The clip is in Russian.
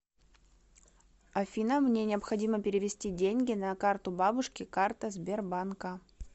афина мне необходимо перевести деньги на карту бабушки карта сбербанка